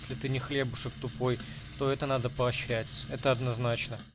если ты не хлебушек тупой то это надо поощрять это однозначно